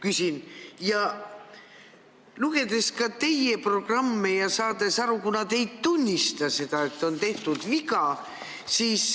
Olen lugenud teie programmi ja olen saanud aru, et te ei tunnista seda, et on tehtud viga.